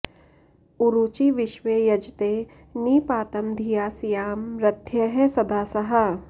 उरूची विश्वे यजते नि पातं धिया स्याम रथ्यः सदासाः